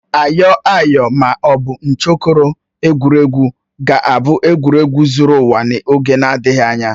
Ayoayo ma ọ bụ nchokoro, egwuregwu ga-abụ egwuregwu zuru ụwa ọnụ n'oge na-adịghị anya